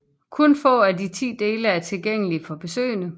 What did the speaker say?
Kun få af de ti dele er tilgængelige for besøgende